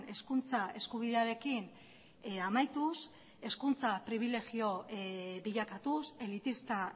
hezkuntza eskubidearekin amaituz hezkuntza pribilegio bilakatuz elitista